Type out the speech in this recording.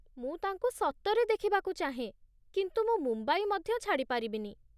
ମୁଁ ତାଙ୍କୁ ସତରେ ଦେଖିବାକୁ ଚାହେଁ, କିନ୍ତୁ ମୁଁ ମୁମ୍ବାଇ ମଧ୍ୟ ଛାଡ଼ି ପାରିବିନି।